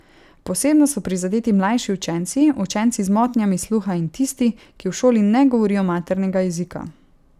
Posebno so prizadeti mlajši učenci, učenci z motnjami sluha in tisti, ki v šoli ne govorijo maternega jezika.